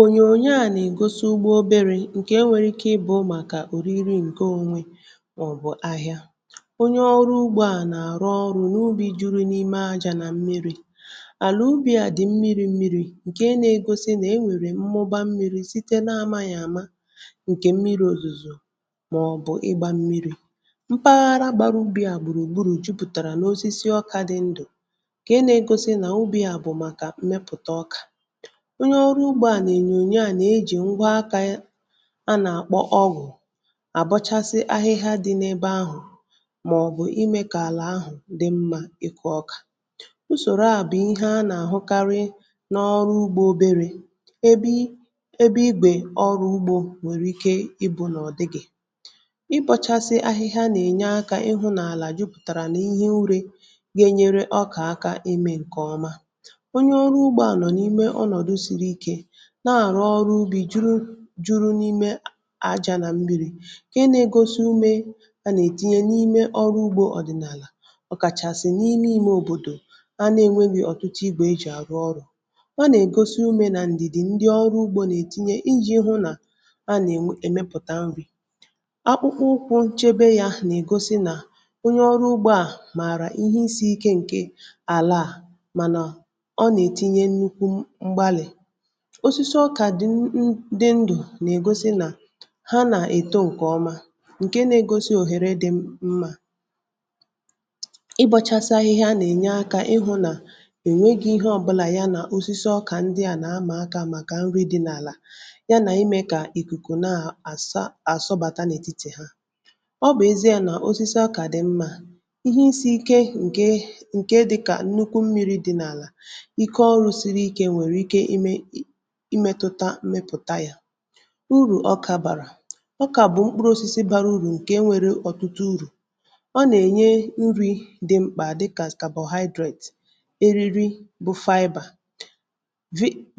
ònyònyo a nà-ègosi ugbu oberė ǹkè e nwèrè ike ịbụ̇ màkà òriri ǹke onwe màọbụ̀ ahịa onye ọrụ ugbo a nà-àrụ ọrụ̇ n’ubi juru n’ime ajȧ nà mmiri̇ àlà ubì à dị̀ mmiri̇ mmiri̇ um ǹkè ị nà-ègosi nà e nwèrè mmụba mmiri̇ site n’amȧghị̀ àma ǹkè mmiri̇ òzùzò màọbụ̀ ịgbȧ mmiri̇ mpaghara gbara ubì à gbùrù gburù jupùtàrà n’osisi ọkȧ dị ndụ̀ kà ị nà-ègosi nà ubì à bụ̀ màkà mmepụ̀ta ọkà um onye ọrụ ugbȯ à nà-ènyònyè à nà-ejì ngwa akȧ ya a nà-àkpọ ọgụ̀ àbọchasị ahịhịa dị n’ebe ahụ̀ mà ọ̀ bụ̀ imė kà àlà ahụ̀ dị mmȧ ịkụ̇ ọkà usòro a bụ̀ ihe a nà-àhụkarị n’ọrụ ugbȯ oberė ebe ị ebe igbè ọrụ ugbȯ nwèrè ike ịbụ̇ n’ọ̀dịgị̀ i bọchasị ahịhịa nà-ènye akȧ ịhụ̇ n’àlà jupụ̀tàrà n’ihe nri ga-enyere ọkà aka imė ǹkè ọma um na-àrụ ọrụ ubi̇ juru juru n’ime àjà nà mmiri ka ị na-egosi ume yà nà ètinye n’ime ọrụ ugbȯ ọ̀dịnàlà ọ̀ kàchàsị̀ n’ime ime òbòdò a na-enweghị̇ ọ̀tụtụ igwè ejì àrụ ọrụ̇ um a nà ègosi ume nà ǹdìdì ndị ọrụ ugbȯ nà ètinye iji̇ hụ nà a nà èmepụ̀ta nrì akpụkpụ ụkwụ̇ chebe yȧ nà ègosi nà onye ọrụ ugbȯ à màrà ihe isi̇ ike ǹke àlàà mànà ọ nà ètinye nnukwu mgbalì osisi ọkà dị dị ndụ̀ na-ègosi nà ha nà-èto ụkà ọma, ǹke na-egosi òhèrè dị mmȧ ị gbochasi ahịhịa a nà-ènye akȧ ịhụ̇ nà ènweghi ihe ọbụlà um ya nà osisi ọkà ndị à nà-amàakȧ màkà nri dị n’àlà ya nà imė kà ìkùkù na-àsȧ àsọbàta n’ètitè ha ọ bụ̀ ezi à nà osisi ọkà dị̀ mmȧ ihe isi̇ ike ǹke ǹkè dịkà nnukwu mmiri̇ dị n’àlà ike ọrụ̇sịrị ike imẹtụta mmepụ̀ta yȧ um urù ọkȧ bàrà ọkà bụ̀ mkpụrụ osisi bara uru̇ ǹkè e nwèrè urù ọ nà-ènye nri̇ dị mkpà dịkà carbohydrate eriri bụ̀ fiber